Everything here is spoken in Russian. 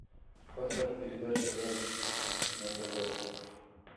поставь передачу рен на тв